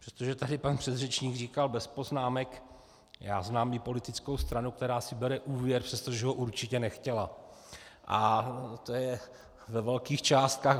Protože tady pan předřečník říkal "bez poznámek", já znám i politickou stranu, která si bere úvěr, přestože ho určitě nechtěla, a to je ve velkých částkách.